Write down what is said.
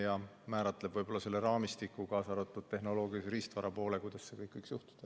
See määratleb ka selle raamistiku, kaasa arvatud tehnoloogilise ja riistvara poole, kuidas see kõik võiks juhtuda.